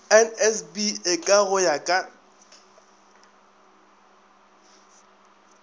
nsb eka go ya ka